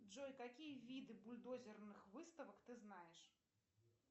джой какие виды бульдозерных выставок ты знаешь